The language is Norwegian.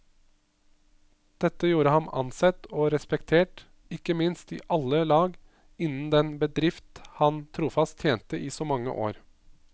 Dette gjorde ham ansett og respektert, ikke minst i alle lag innen den bedrift han trofast tjente i så mange år.